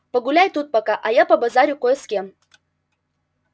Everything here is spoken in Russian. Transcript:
погуляй тут пока а я побазарю кое с кем